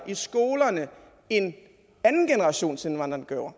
i skolerne end andengenerationsindvandrerne gjorde